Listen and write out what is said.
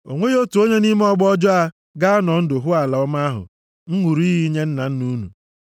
“O nweghị otu onye nʼime ọgbọ ọjọọ a ga-anọ ndụ hụ ala ọma ahụ m ṅụrụ iyi inye nna nna unu,